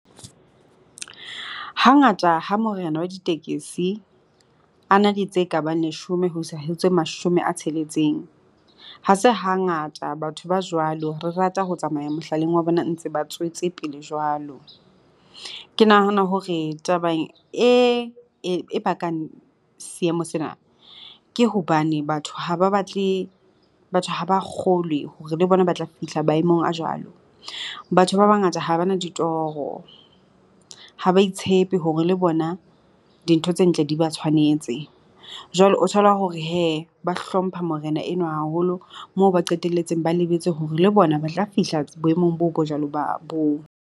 Hangata ha morena wa ditekesi a na le tse ka bang leshome ho isa ho tse mashome a tsheletseng. Ha se hangata batho ba jwalo re rata ho tsamaya mehlaleng wa bona ntse ba tswetse pele jwalo. Ke nahana hore taba e, e bakang seemo sena ke hobane batho ha ba batle batho ha ba kgolwe hore le bona ba tla fihla maemong a jwalo. Batho ba bangata ha bana ditoro, ha ba itshepe hore le bona dintho tse ntle di ba tshwanetse. Jwale o thola hore hee ba hlompha morena enwa haholo moo ba qetelletse ba lebetse hore le bona ba tla fihla boemong boo bo jwalo ba boo.